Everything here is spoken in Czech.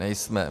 Nejsme.